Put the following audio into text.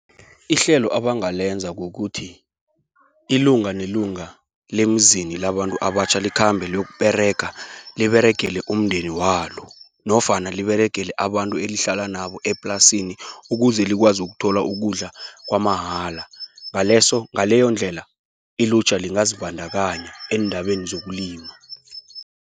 Ihlelo abangalenza kukuthi, ilunga lelunga lemzini labantu abatjha, likhambe leyokuberega liberegele umndeni walo, nofana liberegele abantu elihlala nabo eplasini, ukuze likwazi ukuthola ukudla kwamahala. Ngaleyondlela ilutjha lingazibandakanya eendabeni zokulima.